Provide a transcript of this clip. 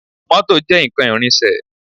Mọ́tò jẹ́ nǹkan ìrìnsẹ̀